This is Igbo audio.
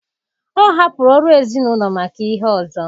Ọ hapụrụ ọrụ ezinụlọ maka ihe ọzọ